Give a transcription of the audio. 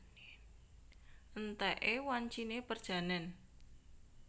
Entèké wanciné perjanèn